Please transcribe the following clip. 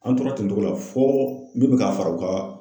An tora ten togo la fo min be ka fara u ka